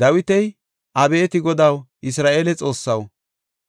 Dawiti, “Abeeti Godaw, Isra7eele Xoossaw,